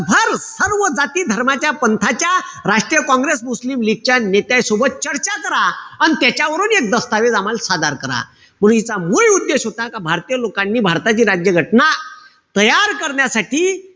भर सर्व जाती-धर्माच्या, पंथाच्या, राष्ट्रीय काँग्रेस, मुस्लिम लीगच्या नेत्यांसोबत चर्चा करा. अन त्याच्यावरून एक दस्तावेज आम्हाल सादर करा. म्हणून हीचा मूळ उद्देश होता का, भारतीय लोकांनी भारताची राज्य घटना तयार करण्यासाठी,